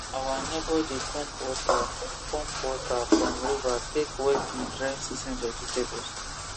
our neighbor dey pump water pump water from river take wet him dry season vegetables